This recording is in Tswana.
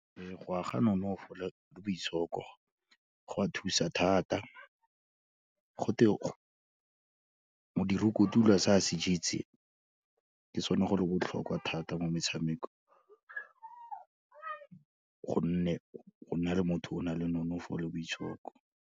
Ee go aga nonofo le boitshoko go a thusa thata, go te modiri o kotula se a se jetseng, ke sone go le botlhokwa thata mo metshamekong, gonne go nna le motho o nang le nonofo le boitshoko.